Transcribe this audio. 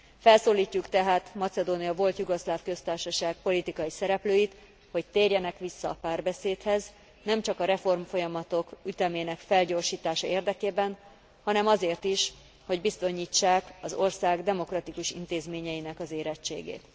Felszólítjuk tehát Macedónia Volt Jugoszláv Köztársaság politikai szereplőit, hogy térjenek vissza a párbeszédhez nemcsak a reformfolyamatok ütemének felgyorsítása érdekében, hanem azért is, hogy bizonyítsák az ország demokratikus intézményeinek az érettségét.